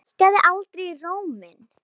Hækkaði aldrei róminn.